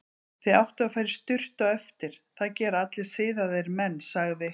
Þið áttuð að fara í sturtu á eftir, það gera allir siðaðir menn, sagði